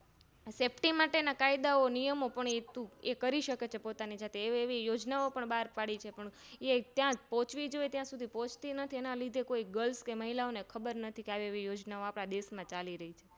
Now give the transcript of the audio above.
Safety માટેના કાયદાઓ નિયમો એ કરીશકે પોતાની માટે એવી એવી યોજનાઓ બાર પાડી છે પણ એ ત્યાં પોહ્ચવી જોઈએ ત્યાં સુધી પોહ્ચતી નથી તેના લીધે કોય Grils કે મહિલાઓને ખબર નથી કે આવી આવી યોજના ઓં આપણા દેશ માં ચાલી રહી છે